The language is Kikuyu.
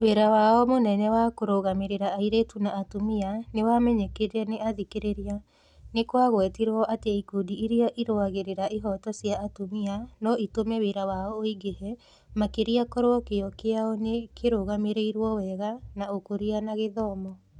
Wĩra wao mũnene wa kũrũgamĩrĩra airĩtu na atumia nĩ wamenyekire nĩ athikĩrĩria. Nĩ kwagwetirwo atĩ ikundi iria irũagĩrĩra ihooto cia atumia no itũme wĩra wao ũingĩhe makĩria korwo kĩyo kĩao nĩ kĩrũgamĩrĩirũo wega na Ũkũria na Githomo